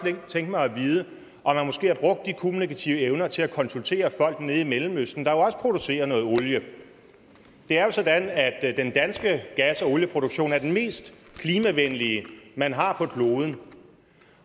tænke mig at vide om man måske har brugt de kommunikative evner til at konsultere folk i mellemøsten der jo også producerer noget olie det er jo sådan at at den danske gas og olieproduktion er den mest klimavenlige man har på kloden